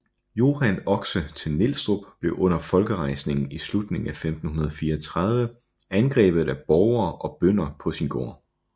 Johan Oxe til Nielstrup blev under folkerejsningen i slutningen af 1534 angrebet af borgere og bønder på sin gård